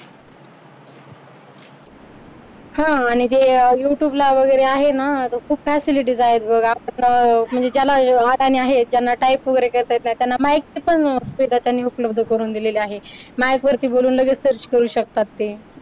हा आणि जे youtube ला वगैरे आहे ना खूप facility आहेत बघ म्हणजे ज्याला अडाणी आहेत ज्यांना type वगैरे करता येत नाही त्यांना mike ची पण सुविधा त्यांनी उपलब्ध करून दिलेली आहे. mike वरती बोलूनलगेच search करू शकतात ते